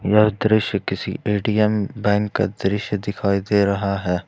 यह दृश्य किसी ए_टी_एम बैंक का दृश्य दिखाई दे रहा है।